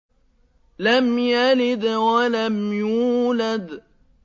لَمْ يَلِدْ وَلَمْ يُولَدْ